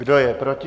Kdo je proti?